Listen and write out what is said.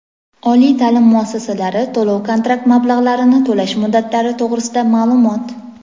Oliy taʼlim muassasalari to‘lov-kontrakt mablag‘larini to‘lash muddatlari to‘g‘risida maʼlumot.